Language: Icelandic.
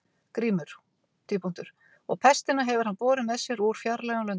GRÍMUR: Og pestina hefur hann borið með sér úr fjarlægum löndum.